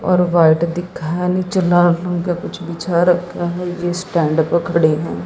और व्हाइट दिखा है निचे लाल रंग का कुछ बिछा रखा है जिस स्टैंड पे खड़े हैं।